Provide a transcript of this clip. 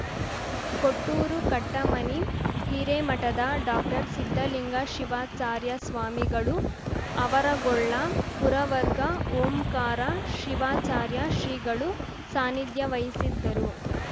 ಕೊಟ್ಟೂರು ಕಟ್ಟಮನಿ ಹಿರೇಮಠದ ಡಾಕ್ಟರ್ಸಿದ್ಧಲಿಂಗ ಶಿವಾಚಾರ್ಯ ಸ್ವಾಮಿಗಳು ಅವರಗೊಳ್ಳ ಪುರವರ್ಗ ಓಂಕಾರ ಶಿವಾಚಾರ್ಯ ಶ್ರೀಗಳು ಸಾನ್ನಿಧ್ಯ ವಹಿಸಿದ್ದರು